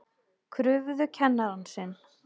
Krufðu kennarann sinn